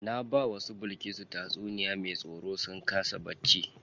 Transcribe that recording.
Na bawa su Bilkisu tatsuniya me tsoro sun kasa bacci.